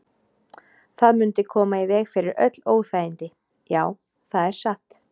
Það mundi koma í veg fyrir öll óþægindi, já, það er satt.